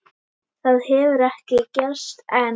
Það hefur ekki gerst enn.